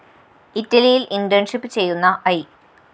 ഇറ്റലിയില്‍ internship ചെയ്യുന്ന I